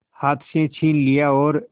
हाथ से छीन लिया और